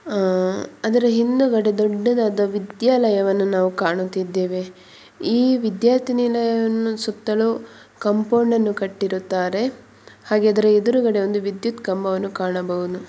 ಆ ಅದರ ಹಿಂದೆಗಡೆ ದೊಡ್ಡದಾದ ವಿದ್ಯಾಲಯ ವನ್ನು ನಾವು ಕಾಣುತ್ತಿದ್ದೇವೆ ಈ ವಿದ್ಯಾರ್ಥಿ ನಿಲಯದ ಸುತ್ತಲೂ ಕಾಂಪೌಂಡನ್ನು ಕಟ್ಟಿರುತ್ತಾರೆ ಹಾಗೆ ಆದ್ರ ಹೆದ್ರುಗಡೆ ಒಂದು ವಿದ್ಯುತ್ ಕಂಬವನ್ನು ಕಾಣಬಹುದು.